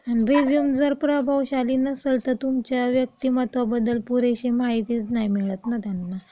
अन resume जर प्रभावशाली नसंल, तर तुमच्या व्यक्तिमत्वाबद्दल पुरेशी माहितीच नाही मिळत ना त्यांना.